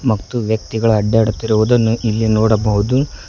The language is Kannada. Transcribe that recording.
ಮತ್ತು ವ್ಯಕ್ತಿಗಳು ಅಡ್ಡಾಡುತ್ತಿರುವುದನ್ನು ಇಲ್ಲಿ ನೋಡಬಹುದು.